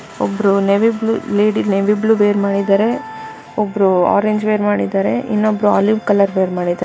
ಒಬ್ರು navy blue lady navy blue wear ಮಾಡಿದರೆ ಒಬ್ರು ಆರೆಂಜ್ ವೇರ್ ಮಾಡಿದರೆ ಇನ್ನೊಬ್ಬರು ಆಲಿವ್ ಕಲರ್ ವೇರ್ ಮಾಡಿದ್ದಾರೆ.